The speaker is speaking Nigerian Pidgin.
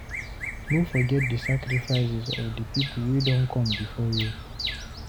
No forget di sacrifices of the pipo wey done come before you